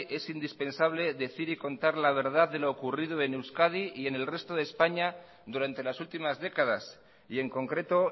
es indispensable decir y contar la verdad de lo ocurrido en euskadi y en el resto de españa durante las últimas décadas y en concreto